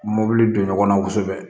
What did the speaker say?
Mobili don ɲɔgɔnna kosɛbɛ